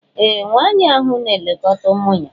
Ee! Nwaanyị ahụ na-elekọta ụmụ ya.